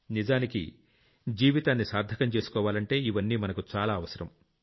నిజానికి జీవితాన్ని సార్థకం చేసుకోవాలంటే ఇవన్నీ మనకు చాలా అవసరం